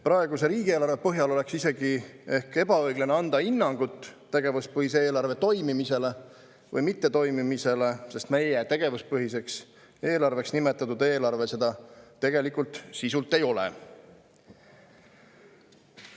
Praeguse riigieelarve põhjal oleks isegi ehk ebaõiglane anda hinnangut tegevuspõhise eelarve toimimisele või mittetoimimisele, sest meie tegevuspõhiseks eelarveks nimetatud eelarve seda tegelikult sisult ei ole.